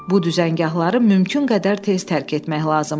Bu düzəngahları mümkün qədər tez tərk etmək lazım idi.